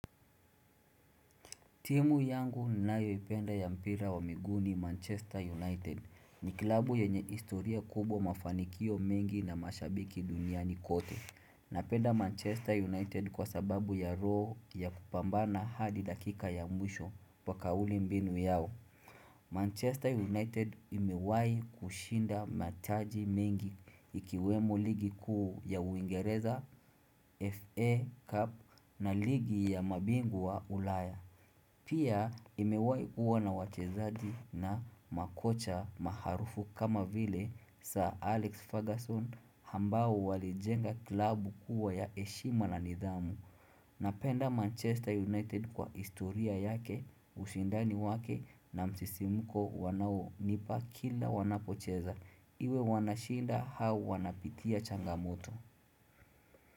Timu yangu ninayoipenda ya mpira wa miguni Manchester United. Ni kilabu yenye historia kubwa, mafanikio mengi, na mashabiki dunia ni kote. Napenda Manchester United kwa sababu ya roho ya kupambana hadi dakika ya mwisho kwa kauli mbinu yao. Manchester United imewahi kushinda mataji mengi, ikiwemo ligi kuu ya uingereza FA Cup na ligi ya mabingu wa ulaya. Pia imewahi kuwa na wachezaji na makocha maarufu kama vile Sir Alex Ferguson ambao walijenga klabu kuwa ya heshima na nidhamu Napenda Manchester United kwa historia yake, ushindani wake, na msisimko wanaonipa kila wanapocheza iwe wanashinda au wanapitia changamoto.